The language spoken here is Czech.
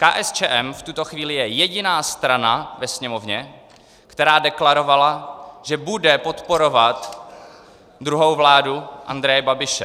KSČM v tuto chvíli je jediná strana ve Sněmovně, která deklarovala, že bude podporovat druhou vládu Andreje Babiše.